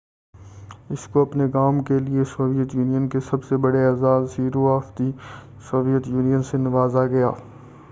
اس کو اپنے کام کے لئے سویت یونین کے سب سے بڑے اعزاز hero of the Soviet Union سے نوازا گیا